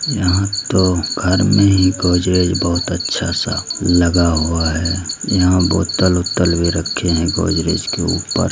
यहां तो घर में ही बहुत अच्छा सा गोदरेज लगा हुआ है यहां बोतल उतल भी रखे हैं गोदरेज के ऊपर।